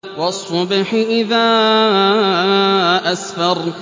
وَالصُّبْحِ إِذَا أَسْفَرَ